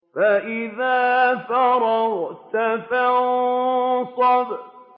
فَإِذَا فَرَغْتَ فَانصَبْ